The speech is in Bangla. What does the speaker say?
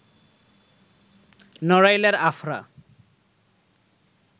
নড়াইলের আফরা